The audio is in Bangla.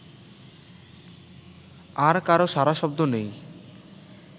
আর কারো সাড়াশব্দ নেই